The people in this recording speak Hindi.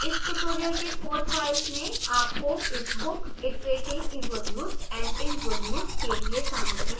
इस tutorial के code files में आपको इस bookiteratingevolutesandinvolutes odt के लिए सामग्री मिलेगी